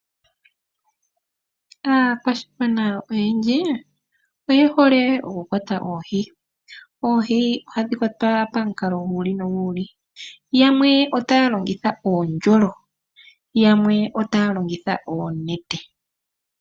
Aakwashigwana oyendji oye hole oku kwata oohi. Ohadhi kwatwa pomikalo dha yoolokathana, aantu yamwe ohaa longitha uundjolo na yamwe ohaa longitha oonete.